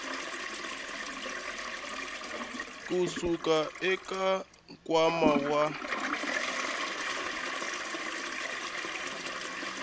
ku suka eka nkwama wa